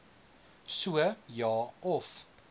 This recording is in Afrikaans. so ja of